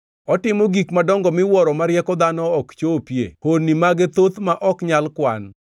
Otimo gik madongo miwuoro ma rieko dhano ok chopie honni mage thoth ma ok nyal kwan.